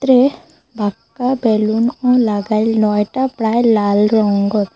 বেলুনও লাগাইল নয়টা প্রায় লাল রঙ্গ।